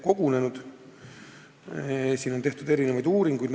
Nagu me teame, selle kohta on tehtud erinevaid uuringuid.